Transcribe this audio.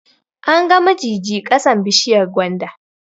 An ga mijiji ƙasan bishiyar gwanda